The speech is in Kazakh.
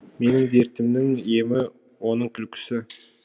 менің дертімнің емі оның күлкісі